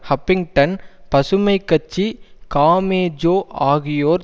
Huffington பசுமை கட்சி காமேஜோ ஆகியோர்